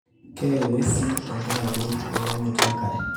keye ing'uesi tenkaraki elaunoto enkare